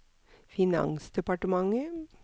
finansdepartementet